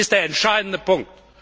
Das ist der entscheidende Punkt!